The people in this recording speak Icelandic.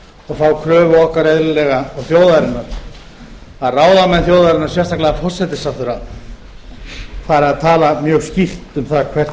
þá kröfu okkar eðlilega og þjóðarinnar að ráðamenn þjóðarinnar sérstaklega forsætisráðherra fari að tala mjög skýrt um það hvert